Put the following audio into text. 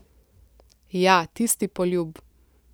Ja, tisti poljub.